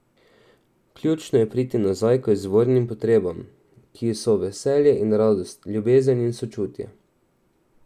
Ključno je priti nazaj k izvornim potrebam, ki so veselje in radost, ljubezen in sočutje.